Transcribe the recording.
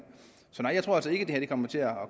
så nej jeg tror altså ikke at det her kommer til at